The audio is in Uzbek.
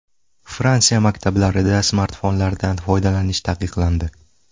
Fransiya maktablarida smartfonlardan foydalanish taqiqlandi.